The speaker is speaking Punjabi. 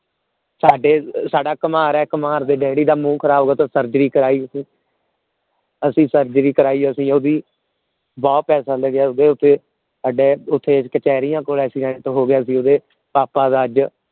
ਸਾਡੇ ਕੁਮਿਹਾਰ ਹੈ ਕੁਮਿਹਾਰ ਦੇ ਡੈਡੀ ਦਾ ਮੂੰਹ ਖਰਾਬ ਹੋਇਆ ਸੀ ਫੇਰ surgery ਕਰੈ ਅਸੀਂ surgery ਕਰੈ ਅਸੀਂ ਓਹਦੀ ਬਹੁਤ ਪੈਸੇ ਲੱਗਿਆ ਉਸ ਦ ਉੱਤੇ ਸਾਡੇ ਓਥੇ ਕਚੇਰੀਆਂ ਕੋਲ accident ਹੋ ਗਿਆ ਸੀ ਓਹਦੇ ਪਾਪਾ ਦਾ